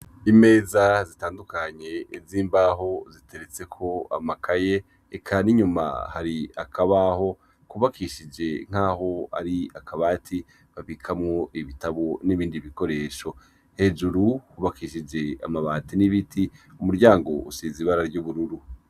Imeza zitandukanye z'imbaho ziteretseko amakaye eka ninyuma hari akabaho kubakishije nk'aho ari akabati babikamwo ibitabo n'ibindi bikoresho hejuru hubakishije amabati n'ibiti umuryango usize ibara ry'ubururu.